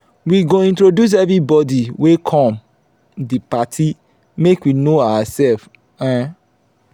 we go introduce everybodi wey come di party make we know oursef. um